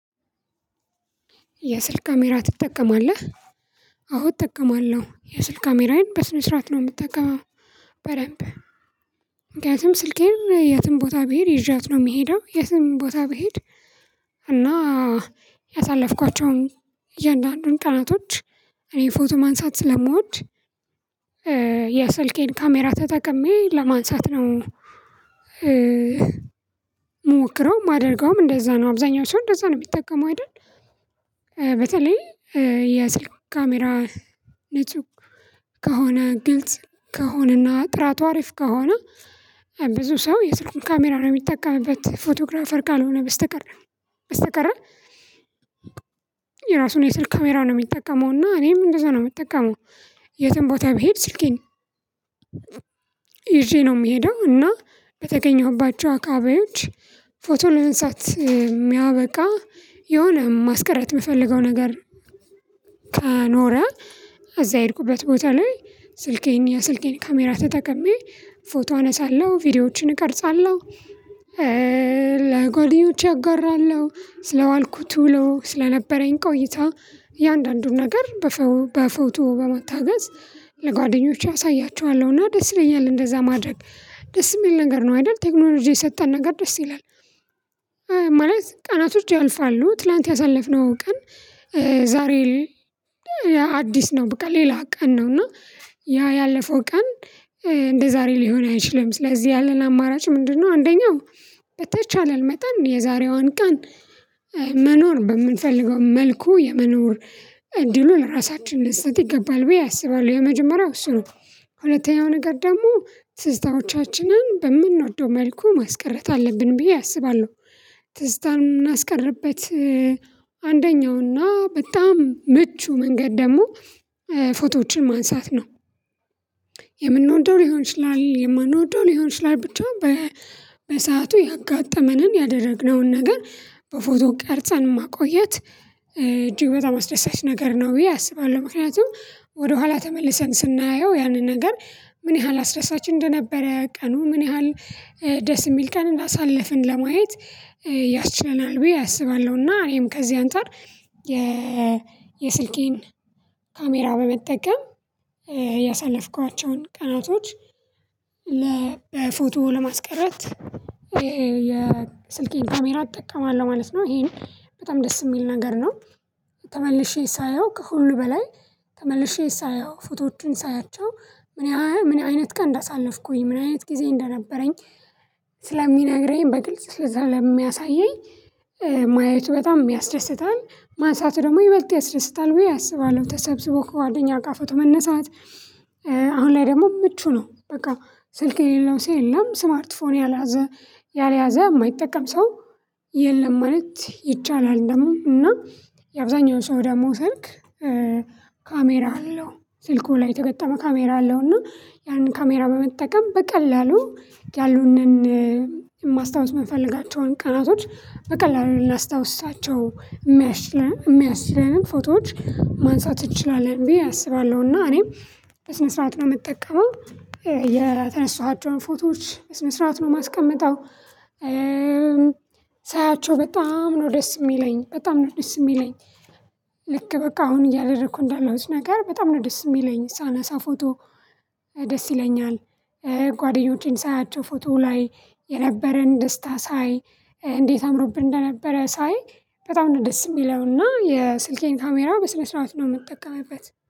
የስልክ ካሜራ ትጠቀማለህ አወ እጠቀማለሁ የስልክ ካሜራዬን በስነ ስርዓት ነው የምትጠቀመው። በደንብ ምክንያቱም ስልኬን የትም ቦታ ብሄድ ይዣት ነው የሚሄደው የትም ቦታ ብሄድ እና ያሳለፍኳቸውን እያንዳንዱን ቀናቶች እኔ ፎቶ ማንሳት ስለምወድ። የስልኬን ካሜራ ተጠቅሜ ለማንሳት ነው እምሞክረው ማደርገውም እንደዛ ነው አብዛኛው ሰው እንደዛ ነው የሚጠቀመው አይደል። በተለይ የስልክ ካሜራ ንጹህ ከሆነ ግልጽ ከሆነና ጥራቱ አሪፍ ከሆነ ብዙ ሰው የስልኩን ካሜራ ነው የሚጠቀምበት ፎቶግራፈር ካልሆነ በስተቀር በስተቀር የራሱን የስልክ ካሜራውን ነው የሚጠቀመው እና እኔም እንደዛ ነው የምጠቀመው። የትም ቦታ ብሄድ ስልኬን ይዤ ነው የምሄደው እና በተገኘሁባቸው አካባቢዎች ፎቶ ልማንሳት የሚያበቃ የሆነ ማስቀረት የምፈልገው ነገር ከኖረ አዛ የሄድኩበት ቦታ ላይ ስልኬን የስልኬን ካሜራ ተጠቅሜ ፎቶ አነሳለሁ ቪዲዮዎችን እቀርጻለሁ። ለጓደኞቼ አጋራለሁ ስለዋልኩት ውሎ ስለነበረኝ ቆይታ እያንዳንዱን ነገር በፎቶ በመታገዝ ለጓደኞቼ አሳያችኋለሁና ደስ ይለኛል እንደዛ ማድረግ ደስ የሚል ነገር ነው አይደል ቴክኖሎጂ የሰጠን ነገር ደስ ይላል። ማለት ቀናቶች ያልፋሉ ትላንት ያሳለፍነው ቀን ዛሬ አዲስ ነው በቃ ሌላ ቀን ነው እና ያ ያለፈው ቀን እንደዛሬ ሊሆን አይችልም ስለዚህ ያለን አማራጭ ምንድነው? አንደኛው በተቻለን መጣን የዛሬዋን ቀን መኖር በምንፈልገው መልኩ የመኖር እድሉ ለራሳችን ልንሰጥ ይገባል ብዬ አስባለሁ። የመጀመሪያው እሱ ነው ሁለተኛው ነገር ደግሞ ትዝታዎቻችንን በምንወደው መልኩ ማስቀረት አለብን ብዬ አስባለሁ። ትዝታን እምናስቀርበት እና በጣም ምቹ መንገድ ደግሞ ፎቶዎችን ማንሳት ነው። ሊሆን ይችላል የማንወደው ሊሆን ይችላል ብቻ በሰአቱ ያጋጠመንን ያደረግነውን ነገር በፎቶ ቀርጸን ማቆየት እጅግ በጣም አስደሳች ነገር ነው ብዬ አስባለሁ። ምክንያቱም ወደኋላ ተመልሰን ስናየው ያንን ነገር ምን ያህል አስደሳች እንደነበረ ቀኑ ምን ያህል ደስ የሚል ቀን አንዳሳለፍን ለማየት ያስችለናል ብዬ አስባለሁና እኔም ከዚህ አንፃር የ የስልኬን ካሜራ በመጠቀም ያሳለፍኳቸውን ቀናቶች በፎቶ ለማስቀረት ይሄ የስልኬን ካሜራ እጠቀማለሁ ማለት ነው። ይሄን በጣም ደስ የሚል ነገር ነው። ተመልሼ ሳየው ከሁሉ በላይ ተመልሼ ፎቶዎቹን ሳያቸው ምን አይነት ቀን እንዳሳለፍኩኝ ምን አይነት ጊዜ እንደነበረኝ ስለሚነግረኝ በግልጽ ስለሚያሳየኝ ማየቱ በጣም ያስደስታል ማንሳቱ ደግሞ ይበልጥ ያስደስታል ብየ አስባለሁ። ተሰብስቦ ከጓደኛ ጋር ፎቶ መነሳት አሁን ላይ ደግሞ ምቹ ነው በቃ ስልክ የሌለው ሰው የለም ስማርት ፎን ያልያዘ የማይጠቀም ሰው የለም ማለት ይቻላል። ደግሞ እና የአብዛኛውን ሰው ደግሞ ስልክ ካሜራ አለው ስልኩ ላይ የተገጠመ ካሜራ አለው እና ያንን ካሜራ በመጠቀም በቀላሉ ያሉንን የማስታወስ የምንፈልጋቸውን ቀናቶች በቀላሉ ላናስታውሳቸው የሚያስችለን ፎቶዎች ማንሳት እንችላለን ብዬ አስባለሁ። እና እኔም በስነ ስርዓት ነው የምጠቀመው የተነሳኋቸውን ፎቶዎች በስነስራት ነው የማስቀምጠው። ሳያቸው በጣም ነው ደስ የሚለኝ በጣም ነው ደስ የሚለኝ ልክ በቃ አሁን እያደረኩ እንዳለውት ነገር በጣም ነው ደስ የሚለኝ ሳነሳ ፎቶ ደስ ይለኛል። ጓደኞቼን ሳያቸው ፎቶ ላይ የነበረን ደስታ ሳይ እንዴት አምሮብን እንደነበረ ሳይ በጣም ነው ደስ የሚለውና የስልኬን ካሜራ በስነ ስርዓት ነው የምጠቀምበት